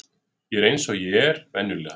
Ég er eins og ég er venjulega.